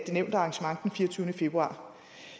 nævnte arrangement den fireogtyvende februar